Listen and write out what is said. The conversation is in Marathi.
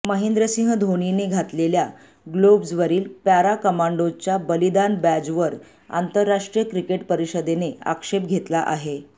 महेंद्रसिंह धोनीने घातलेल्या ग्लोव्हजवरील पॅरा कमांडोजच्या बलिदान बॅजवर आंतरराष्ट्रीय क्रिकेट परिषदेने आक्षेप घेतला आहे